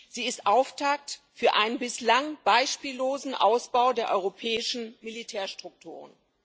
Sie ist Auftakt für einen bislang beispiellosen Ausbau der europäischen Militärstrukturen.